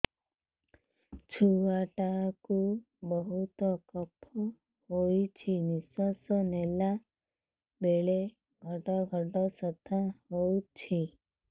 ଛୁଆ ଟା କୁ ବହୁତ କଫ ହୋଇଛି ନିଶ୍ୱାସ ନେଲା ବେଳେ ଘଡ ଘଡ ଶବ୍ଦ ହଉଛି